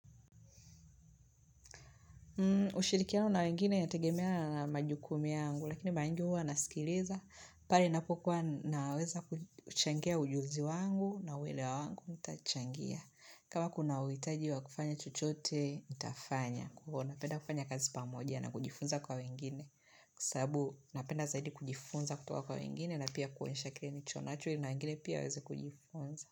Ushirikiano na wengine yategemea na majukumu yangu lakini mara nyingi huwa nasikiliza pale ninapokuwa naweza kuchangia ujuzi wangu na uelewa wangu nitachangia kama kuna uhitaji wa kufanya chochote nitafanya napenda kufanya kazi pamoja na kujifunza kwa wengine sababu napenda zaidi kujifunza kutoka kwa wengine na pia kuonyesha kile nilichonacho ili na wengine pia waweze kujifunza.